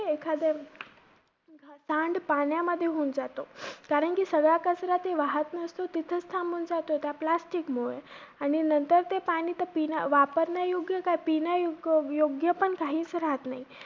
एखादया सांडपाण्यामध्ये होऊन जातो. कारण की सगळा कचरा ते वाहत नसतो, तिथेच थांबून जातो त्या plastic मुळे आणि नंतर ते पाणी तर पिण्या~ काय वापरण्या~ योग्य काय पिण्या युग~ योग्य पण काहीच राहत नाही.